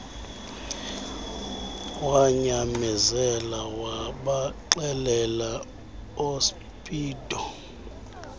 wanyamezela wabaxelela oospeedo